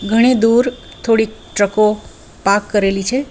ગણે દૂર થોડી ટ્રકો પાર્ક કરેલી છે.